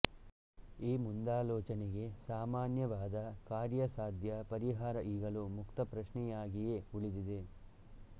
ಈ ಮುಂದಾಲೋಚನೆಗೆ ಸಾಮಾನ್ಯವಾದ ಕಾರ್ಯಸಾಧ್ಯ ಪರಿಹಾರ ಈಗಲೂ ಮುಕ್ತ ಪ್ರಶ್ನೆಯಾಗಿಯೇ ಉಳಿದಿದೆ